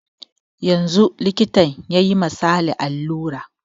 Yanzun likita yayi ma sale alura